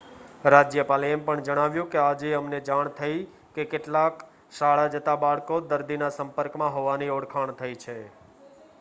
"રાજ્યપાલે એમ પણ જણાવ્યું કે "આજે અમને જાણ થઇ કે કેટલાક શાળા જતા બાળકો દર્દીના સંપર્કમાં હોવાની ઓળખાણ થઇ છે"".